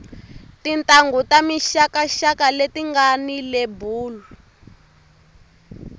tintanghu ta mixaka xaka leti ngani lebulu